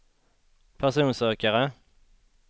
personsökare